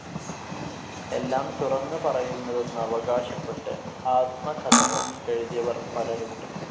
എല്ലാം തുറന്നു പറയുന്നതെന്നവകാശപ്പെട്ട് ആത്മകഥകൾ എഴുതിയവർ പലരുണ്ട്.